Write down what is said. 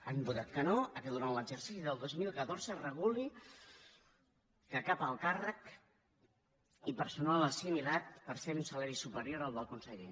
han votat que no al fet que durant l’exercici del dos mil catorze es reguli que cap alt càrrec ni personal assimilat percebi un salari superior al del conseller